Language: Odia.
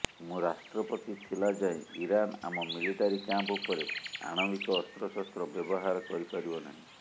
ମୁଁ ରାଷ୍ଟ୍ରପତି ଥିଲା ଯାଏଁ ଇରାନ ଆମ ମିଲିଟାରୀ କ୍ୟାମ୍ପ ଉପରେ ଆଣବିକ ଅସ୍ତ୍ରଶସ୍ତ୍ର ବ୍ୟବହାର କରିପାରିବ ନାହିଁ